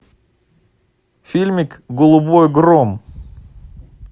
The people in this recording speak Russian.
фильмик голубой гром